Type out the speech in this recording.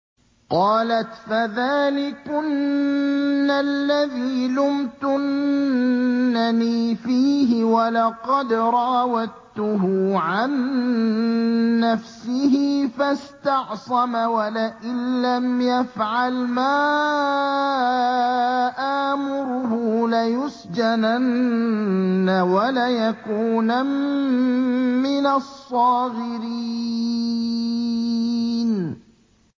قَالَتْ فَذَٰلِكُنَّ الَّذِي لُمْتُنَّنِي فِيهِ ۖ وَلَقَدْ رَاوَدتُّهُ عَن نَّفْسِهِ فَاسْتَعْصَمَ ۖ وَلَئِن لَّمْ يَفْعَلْ مَا آمُرُهُ لَيُسْجَنَنَّ وَلَيَكُونًا مِّنَ الصَّاغِرِينَ